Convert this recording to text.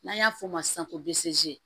N'an y'a f'o ma sisan ko baasize